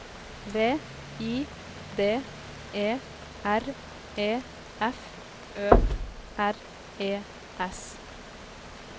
V I D E R E F Ø R E S